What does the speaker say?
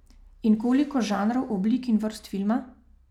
In koliko žanrov, oblik in vrst filma ...